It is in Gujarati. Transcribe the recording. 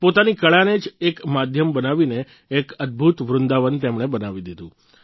પોતાની કળાને જ એક માધ્યમ બનાવીને એક અદભૂત વૃંદાવન તેમણે બનાવી દીધું